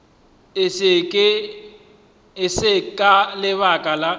e se ka lebaka la